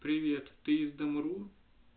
привет ты из дом ру